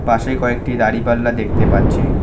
পাশে কয়েকটি দাঁড়িপাল্লা দেখতে পাচ্ছি।